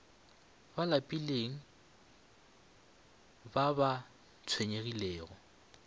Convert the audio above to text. ba lapilego ba ba tshwenyegilego